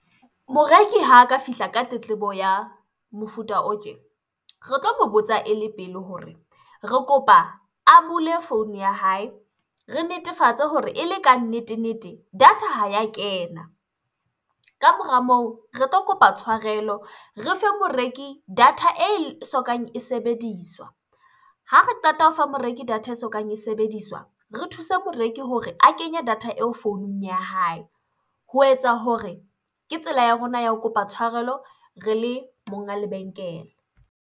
Moreki ha ka fihla ka tletlebo ya mofuta o tje, re tlo mo botsa ele pele hore re kopa a bule founu ya hae, re netefatse hore ele kannete-nete data ha ya kena. Ka mora moo re tlo kopa tshwarelo, re fe moreki data e sokang e sebediswa. Ha re qeta ho fa moreki data e sokang e sebediswa, re thuse moreki hore a kenye data eo founung ya hae ho etsa hore, ke tsela ya rona ya ho kopa tshwarelo re le monga lebenkele.